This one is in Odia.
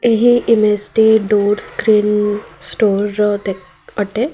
ଏହି ଇମେଜ୍ ଟି ଡୋର୍ ସ୍କ୍ରିନ୍ ଷ୍ଟୋର ର ଦେଖ୍ ଅଟେ।